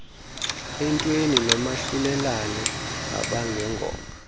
entweni nomahlulelane abangengoma